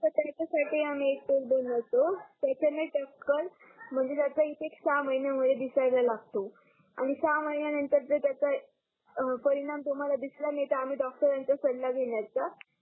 हो त्याच्या साठी आम्ही एक तेल बनवतो त्याच्याणी टक्कल म्हणजे त्याच्या इफेक्ट सहा महिन्यामूळे दिसायला लागतो आणि सहा महिन्या नंतर जर त्याच्या परिणाम तुम्हाला दिसला नाही तर आम्ही डॉक्टरांचा सल्ला घेण्याच्या